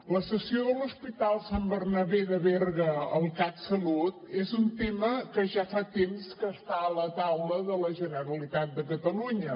la cessió de l’hospital sant bernabé de berga al catsalut és un tema que ja fa temps que està a la taula de la generalitat de catalunya